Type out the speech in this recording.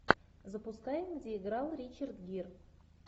запускай где играл ричард гир